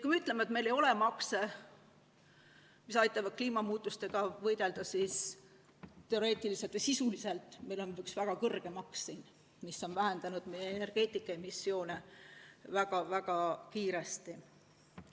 Kui me ütleme, et meil ei ole makse, mis aitavad kliimamuutustega võidelda, siis sisuliselt meil on üks väga kõrge maks, mis on vähendanud energeetikas meie emissioone väga kiiresti.